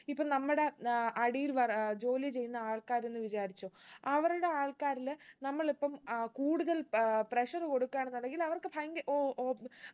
ഇപ്പൊ നമ്മടെ ഏർ അടിയിൽ വര ജോലി ചെയ്യുന്ന ആൾക്കാര്ന്ന് വിചാരിച്ചോ അവരുടെ ആൾക്കാരിൽ നമ്മളിപ്പം ഏർ കൂടുതൽ ഏർ pressure കൊടുക്കാന്നുണ്ടെങ്കിൽ അവർക്ക് ഭയങ്ക ഓ ഓ